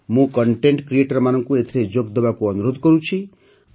ମୁଁ କଣ୍ଟେଣ୍ଟ Creatorମାନଙ୍କୁ ଏଥିରେ ଯୋଗଦେବାକୁ ଅନୁରୋଧ କରୁଛି